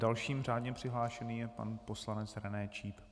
Další řádně přihlášený je pan poslanec René Číp.